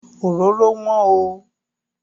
Òróró wọ́n oo.